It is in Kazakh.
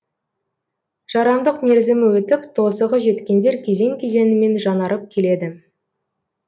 жарамдық мерзімі өтіп тозығы жеткендер кезең кезеңімен жаңарып келеді